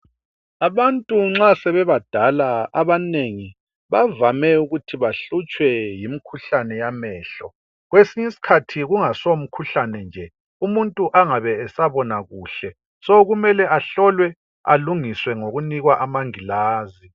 Abantu nxa sebebadala, abanengi, bavame ukuthi bahlutshwe yimkhuhlane yamehlo, kwesinye isikhathi kungaso mkhuhlane nje umuntu angabe esabona kuhle, so kumele ahlolwe, alungiswe ngokunikwa amangilazi.